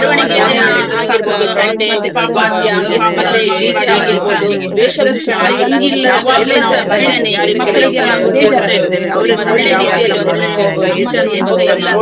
ನಾವು ಶಾಲೆಯಲ್ಲಿ ಒಂದು ಸಲ ಪ್ರವಾಸಕ್ ಹೋಗಿದ್ದೆ ತುಂಬಾ ಹ್ಮ್ ನಾವು ದೂರ ಒಂದು ಹಾ ಹೀಗೆ ನಾವೆಲ್ಲಾ ಅಂದ್ರೆ ಹತ್ತಿರ ಹತ್ತಿರ place ಎಲ್ಲಾ ಇದ್ದಕ್ಕೆಲ್ಲಾ ಕರ್ಕೊಂಡ್ ಹೋದ್ದು ಚರ್ಚ್, ಮಸೀದಿ ಆಗಿರ್ಬೋದು, ಚರ್ಚ್ ಆಗಿರ್ದ್, ದೇವಸ್ಥಾನ.